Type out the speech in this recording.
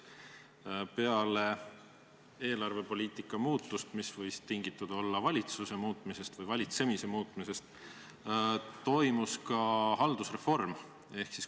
Peale eelarvepoliitika muutust, mis võis tingitud olla valitsuse muutumisest või valitsemise muutumisest, toimus ka haldusreform.